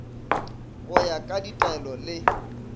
go ya ka ditaelo le